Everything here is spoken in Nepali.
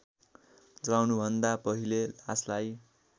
जलाउनुभन्दा पहिले लासलाई